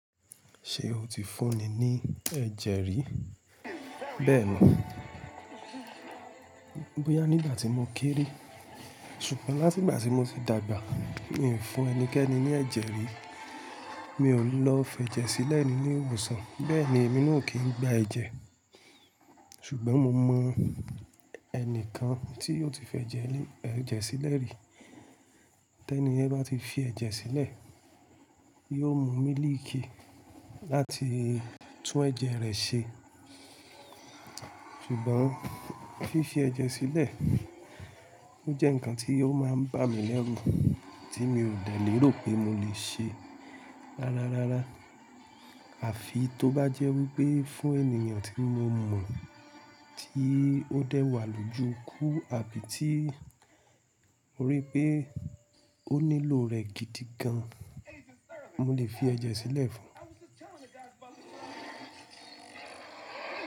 Ṣé o ti fún ni ní ẹ̀jẹ̀ rí? Bẹ́ẹ̀ni. Bóyá nígbà tí mo kéré. Ṣùgbọ́n láti ìgbà tí mo ti dàgbà, mi ò fún ẹnikẹ́ni ní ẹ̀jẹ̀ rí. Mi ò lọ fẹ́ jẹ sílẹ̀ ní ilé ìwòsàn, bẹ́ẹ̀ ni èmi na o kí n gba ẹ̀jẹ̀. Ṣùgbọ́n mo mọ ẹnìkan tí ó ti fẹ́ jẹ ẹ̀jẹ̀ sílẹ̀ rí. Tẹ́ní yẹn bá ti fi ẹ̀jẹ̀ sílẹ̀, yóò mu mílìkì láti tún ẹ̀jẹ̀ rẹ̀ ṣe. Ṣùgbọ́n fífi ẹ̀jẹ̀ sílẹ̀, ó jẹ́ nǹkan tí ó máa ń bà mí lẹ́rù, tí mi ò dẹ̀ lérò pé mo lè ṣe rárá rárá. Àfi tó bá jẹ́ wípé fún ènìyàn tí mo mọ̀ tí ó dẹ́wàá lójú ikú àbí tí mo rí pé ó nílò rẹ̀ gidi gan, mo lè fi ẹ̀jẹ̀ sílẹ̀ fún un.